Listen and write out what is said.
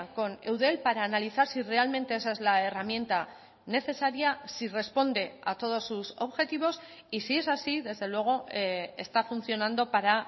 con eudel para analizar si realmente esa es la herramienta necesaria si responde a todos sus objetivos y si es así desde luego está funcionando para